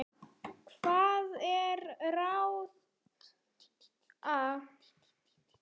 Hvað er til ráða